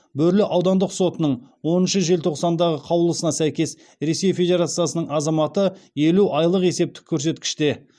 бөрлі аудандық сотының оныншы желтоқсандағы қаулысына сәйкес ресей федерациясының азаматы елу айлық есептік көрсеткіште